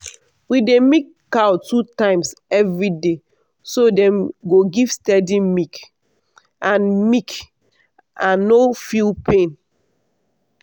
we dey milk cow two times every day so dem go give steady milk and milk and no feel pain.